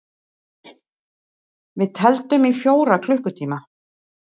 Við tefldum í fjóra klukkutíma!